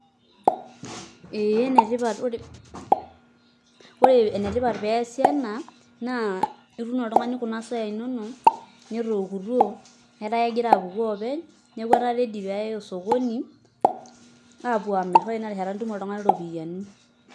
Ee ore enetipat pee eesi ena etum oltung'ani kuna soyai inonok netookutuo etaa kegira aapuku oopeny etaa keji pee eyai osokoni apuo aamirr ore tina rishata nitum oltung'ani iropiyiani.